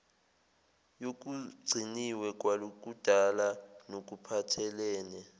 yokugciniwe kwakudala nokuphathelene